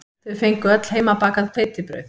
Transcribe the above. Þau fengu öll heimabakað hveitibrauð